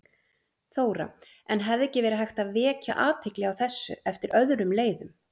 Þóra: En hefði ekki verið hægt að vekja athygli á þessu eftir öðrum leiðum?